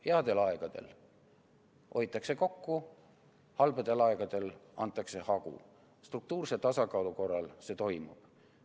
Headel aegadel hoitakse kokku, halbadel aegadel antakse hagu, struktuurse tasakaalu korral see toimib.